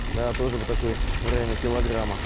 да тоже вот такой в районе килограмма